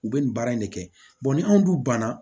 U bɛ nin baara in de kɛ ni anw dun ban na